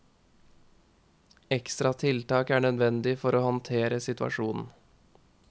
Ekstra tiltak er nødvendig for å håndtere situasjonen.